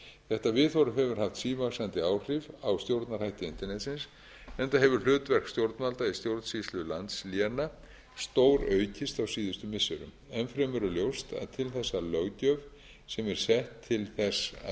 þetta viðhorf hefur haft sívaxandi áhrif á stjórnarhætti internetsins enda hefur hlutverk stjórnvalda í stjórnsýslu landsléna stóraukist á síðustu missirum enn fremur er ljóst að til þess að löggjöf sem er sett til þess að vernda efni sem er sett á